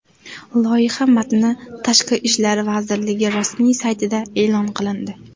Loyiha matni Tashqi ishlar vazirligi rasmiy saytida e’lon qilindi .